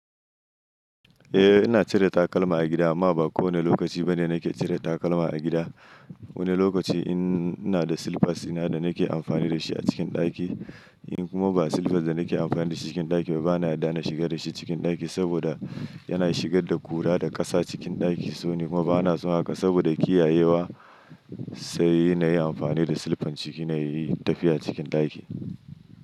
Eh ina cire takalma a gida amma ba kowane lokaci bane nake cire takalma a gida. Wani lokaci in ina da slippers ina da nake amfani dashi a cikin ɗaki in kuma ba slippers da nake amfani da shi cikin ɗaki bana yarda na shiga da shi cikin ɗaki saboda yana shigar da ƙura da ƙasa cikin ɗaki. So ni kuma bana so haka saboda kiyayewa sai ina yi amfani da silfan ciki na yi tafiya cikin ɗaki.